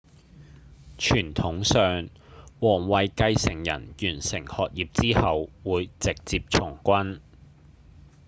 傳統上王位繼承人完成學業之後會直接從軍